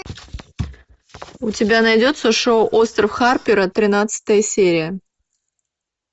у тебя найдется шоу остров харпера тринадцатая серия